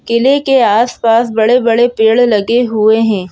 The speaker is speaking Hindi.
किले के आसपास बड़े-बड़े पेड़ लगे हुए हैं।